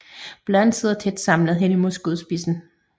Bladene sidder tæt samlet hen mod skudspidsen